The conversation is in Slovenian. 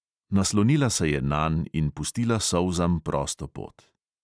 Naslonila se je nanj in pustila solzam prosto pot.